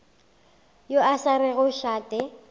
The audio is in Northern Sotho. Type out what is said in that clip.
yo a sa rego šate